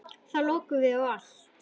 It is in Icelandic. Þá lokuðum við á allt.